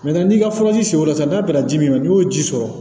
n'i ka furaji siw sɔrɔ sisan n'a bɛnna ji min ma n'i y'o ji sɔrɔ